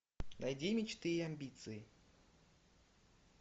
найди мечты и амбиции